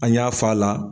An y'a f'a la